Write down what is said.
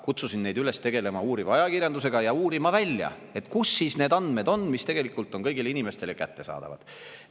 Kutsusin neid üles tegelema uuriva ajakirjandusega ja välja uurima, kus siis on need andmed, mis tegelikult on kõigile inimestele kättesaadavad.